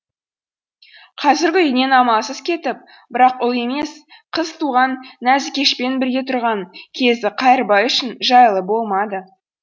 қазіргі үйінен амалсыз кетіп бірақ ұл емес қыз туған нәзікешпен бірге тұрған кезі қайырбай үшін жайлы болмады